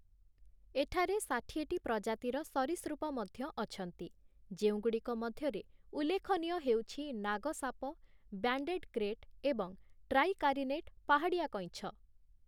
ଏଠାରେ ଷାଠିଏଟି ପ୍ରଜାତିର ସରୀସୃପ ମଧ୍ୟ ଅଛନ୍ତି, ଯେଉଁଗୁଡ଼ିକ ମଧ୍ୟରେ ଉଲ୍ଲେଖନୀୟ ହେଉଛି ନାଗସାପ, ବ୍ୟାଣ୍ଡେଡ କ୍ରେଟ୍ ଏବଂ ଟ୍ରାଇକାରିନେଟ୍ ପାହାଡ଼ିଆ କଇଁଛ ।